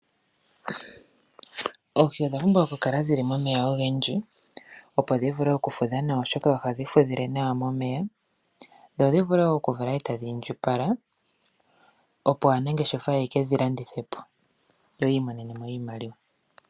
Oohi odha pumbwa okukala dhili momeya ogendji opo dhi vule okufudha oshoka ohadhi fudhile nawa momeya. Dho dhivule okuvala etadhi indjipala opo aanangeshefa ye kedhilandithe po yo yiimonene mo iimaliwa.